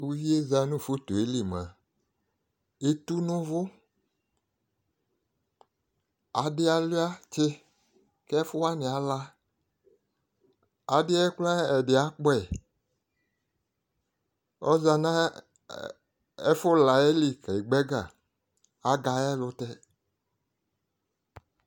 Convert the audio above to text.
Fovi yɛ zã nʋ foto yɛ li mʋa, eti n'ʋvʋ Adɩ alua tsɩ, ɛfʋwanɩ ala, aɖɩ yɛ kraa, ɛdɩ akpɔ yi Ɔza nʋ ɛfʋla yɛ li k'egba ɛga, agba ayɛlʋtɛ